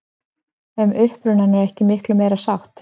Um upprunann er ekki miklu meiri sátt.